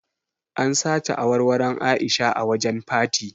An sace awarwaron A'isha a wajen party.